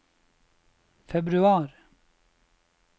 februar